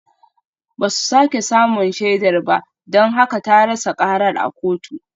Ba su sake samun shaidar ba don haka ta rasa karar a kotu